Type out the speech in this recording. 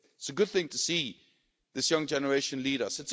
It's a good thing to see this young generation lead us.